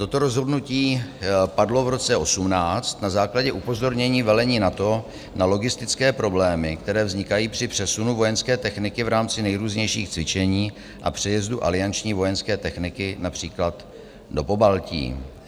Toto rozhodnutí padlo v roce 2018 na základě upozornění velení NATO na logistické problémy, které vznikají při přesunu vojenské techniky v rámci nejrůznějších cvičení a přejezdu alianční vojenské techniky například do Pobaltí.